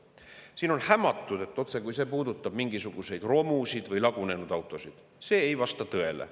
Siin on hämatud, et see otsekui puudutab mingisuguseid romusid või lagunenud autosid – see ei vasta tõele.